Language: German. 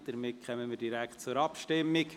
Somit kommen wir direkt zur Abstimmung.